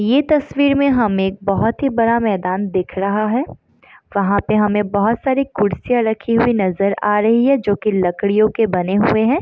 ये तस्वीर में हमें एक बहुत ही बड़ा मैदान दिख रहा है वहाँ पे हमें बहुत सारे कुर्सियाँ रखे हुई नज़र आ रही हैं जो की लकड़ियों के बने हुए हैं।